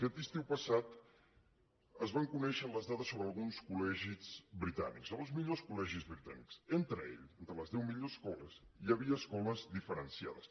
aquest estiu passat es van conèixer les dades sobre alguns col·legis britànics els millors col·legis britànics entre ells entre les deu millors escoles hi havia escoles diferenciades